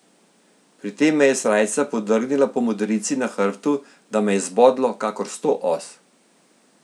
Pri tem me je srajca podrgnila po modrici na hrbtu, da me je zbodlo kakor sto os.